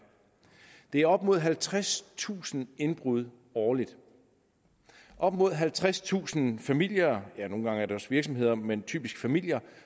det er op mod halvtredstusind indbrud årligt op mod halvtredstusind familier ja nogle gange er det også virksomheder men typisk familier